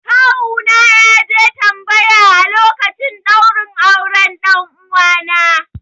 Kawuna ne ya je tambaya a lokacin ɗaurin auren 'ɗan uwana